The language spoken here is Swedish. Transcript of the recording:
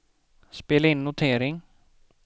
spela in notering